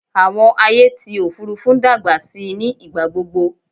Àwọn ayé ti òfurufú ń dàgbà síi ní ìgbàgbogbo